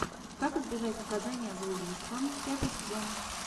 как избежать наказание за убийство пятый сезон